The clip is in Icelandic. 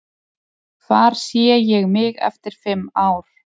Hvar sé ég mig eftir fimm ár?